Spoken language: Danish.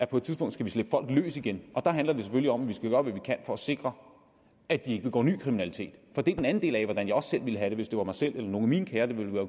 på et tidspunkt skal slippe folk løs igen der handler det selvfølgelig om at vi skal gøre hvad vi kan for at sikre at de ikke begår ny kriminalitet det er den anden del af hvordan jeg også selv ville have det hvis det var mig selv eller nogle af mine kære det var